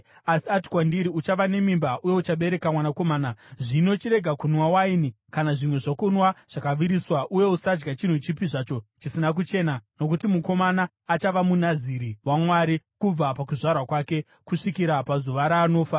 Asi ati kwandiri, ‘Uchava nemimba uye uchabereka mwanakomana. Zvino, chirega kunwa waini kana zvimwe zvokunwa zvakaviriswa uye usadya chinhu chipi zvacho chisina kuchena, nokuti mukomana achava muNaziri waMwari kubva pakuzvarwa kwake kusvikira pazuva raanofa.’ ”